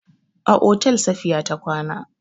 A otel Safiya ta kwana.